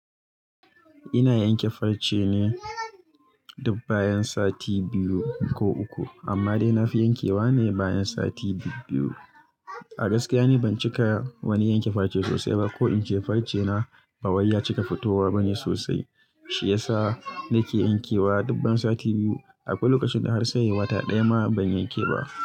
Ina yanke farce ne dub bayan sati biyu ko uku. Amma dai na fi yankewa ne bayan sati biyu. A gaskiya ni ban cika wani yanke farce sosai ba ko in ce farce na ba wuya cika fitowa bane sosai. Shi yasa na ke yankewa duk bayan sati biyu. Akwai lokacin da har sai wata ɗaya ma ban yanke ba.